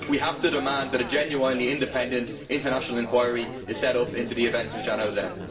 We have to demand that a genuinely independent international inquiry is set up into the events of Zhanaozen.